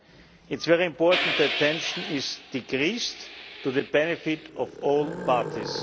It is very important that tension is decreased to the benefit of all parties.